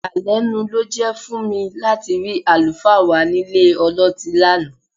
Ìyàlẹ́nu ló jẹ́ fún mi láti rí àlùfáà wa nílé ọlọ́tí lánàá